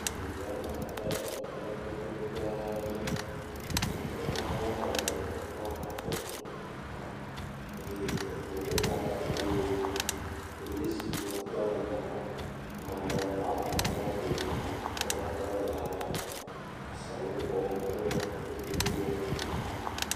Dugã me kple eŋu mɔdodo gãa aɖe dzi. Eŋu gã ame eve wokpɔ afɔku. Eye eŋuwo kaka ƒioo. Polisiŋu va tɔ ɖe gama. Ama ɖewo hã nɔ motodzi wovatɔ ɖe gama. Asawuxɔ wole mɔdzi gbogbo.